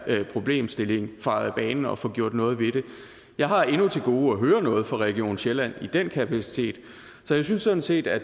problemstilling fejet af banen og få gjort noget ved det jeg har endnu til gode at høre noget fra region sjælland i den kapacitet så jeg synes sådan set at